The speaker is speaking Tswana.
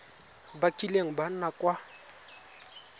ba kileng ba nna kwa